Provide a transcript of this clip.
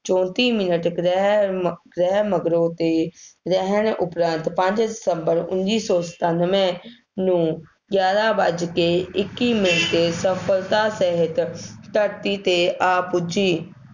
ਚੌਂਤੀਂ minute ਗ੍ਰਹਿ ਗ੍ਰਹਿ ਮਗਰੋਂ 'ਤੇ ਰਹਿਣ ਉਪਰੰਤ, ਪੰਜ ਦਸੰਬਰ ਉੱਨੀ ਸੌ ਸਤਾਨਵੇਂ ਨੂੰ ਗਿਆਰਾ ਵੱਜ ਕੇ ਇੱਕੀ ਮਿੰਟ 'ਤੇ ਸਫਲਤਾ ਸਾਹਿਤ ਧਰਤੀ 'ਤੇ ਆ ਪੁੱਜੀ,